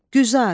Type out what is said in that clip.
Güzar.